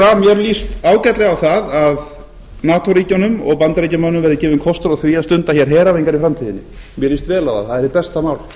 að mér líst ágætlega á að nato ríkjunum og bandaríkjamönnum verði gefinn kostur á að stunda hér heræfingar í framtíðinni mér líst vel á það það er hið besta mál